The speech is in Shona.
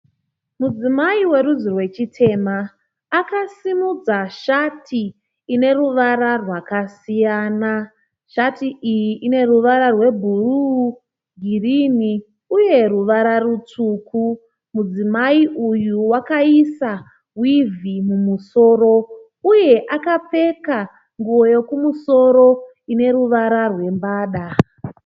Mudzimai werudzi rwechitema. Akasimudza shati ine ruwara rwakasiyana. Shati iyi ine ruwara rwe bhuruu girini uye ruwara rutsvuku Mudzimai uyu akaisa wivhi mumusoro uye akapfeka nguo yokumusoro ine ruwara rwe mbada.